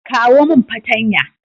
kawo min patanya